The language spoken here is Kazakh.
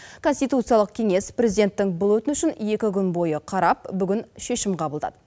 конституциялық кеңес президенттің бұл өтінішін екі күн бойы қарап бүгін шешім қабылдады